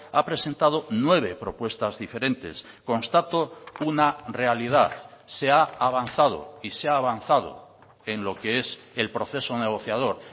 ha presentado nueve propuestas diferentes constato una realidad se ha avanzado y se ha avanzado en lo que es el proceso negociador